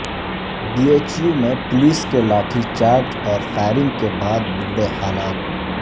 be H U میں police کے لاٹھی چارج اور فائرنگ کے بعد بگڑے حالات